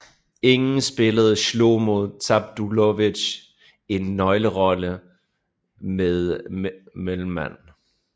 Igen spillede Schlomo Zabludowicz en nøglerolle som mellemmand